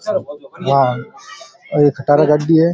यहां एक खटारा गाड़ी है।